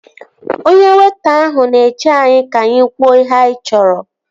Onye weịta ahụ na-eche anyị ka anyị kwuo ihe anyị chọrọ